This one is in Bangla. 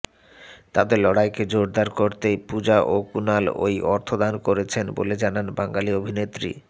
তাঁদের লড়াইকে জোরদার করতেই পূজা ও কুণাল ওই অর্থ দান করছেন বলে জানান বাঙালি অভিনেত্রী